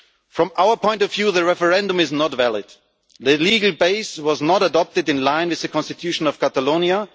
From our point of view, the referendum is not valid. The legal base was not adopted in line with the Constitution of Catalonia.